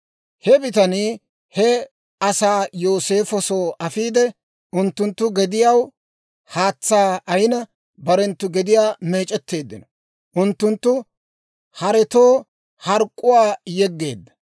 He bitanii he asaa Yooseefo soo afiide, unttunttu gediyaw haatsaa ayina, barenttu gediyaa meec'etteeddino. Unttunttu haretoo hark'k'uwaa yeggeedda.